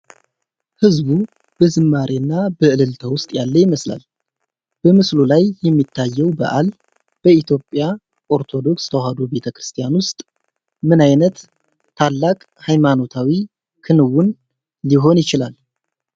ሕዝቡ በዝማሬና በእልልታ ውስጥ ያለ ይመስላል። በምስሉ ላይ የሚታየው በዓል በኢትዮጵያ ኦርቶዶክስ ተዋህዶ ቤተ ክርስቲያን ውስጥ ምን ዓይነት ታላቅ ሃይማኖታዊ ክንውን ሊሆን ይችላል?